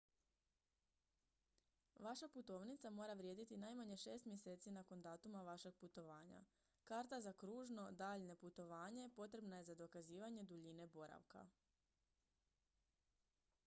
vaša putovnica mora vrijediti najmanje 6 mjeseci nakon datuma vašeg putovanja. karta za kružno/daljnje putovanje potrebna je za dokazivanje duljine boravka